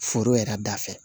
Foro yɛrɛ da fɛ